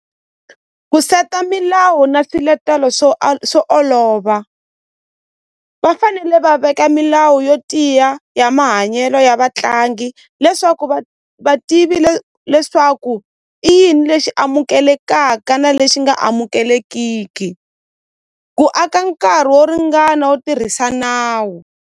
Ku seta milawu na swiletelo swo swo olova va fanele va veka milawu yo tiya ya mahanyelo ya vatlangi leswaku va va tivile leswaku i yini lexi amukelekaka na lexi nga amukelekiki ku aka nkarhi wo ringana wo tirhisa nawu.